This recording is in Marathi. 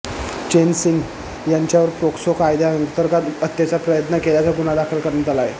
चेन सिंग याच्यावर पोक्सो कायद्याअंतर्गत हत्येचा प्रयत्न केल्याचा गुन्हा दाखल करण्यात आला आहे